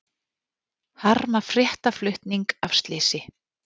Harma fréttaflutning af slysi